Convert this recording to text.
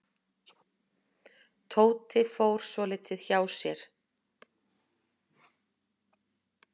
Tóti fór svolítið hjá sér.